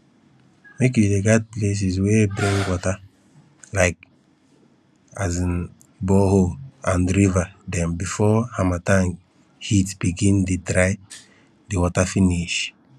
make you dey guard places wey bring water like um borehole and river dem before harmattan heat begin dey dry de water finish